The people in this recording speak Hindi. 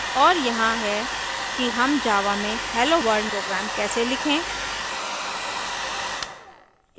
और यहाँ है कि हम java में helloworld program कैसे लिखें